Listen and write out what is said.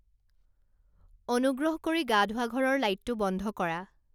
অনুগ্ৰহ কৰি গা ধোৱা ঘৰৰ লাইটটো বন্ধ কৰা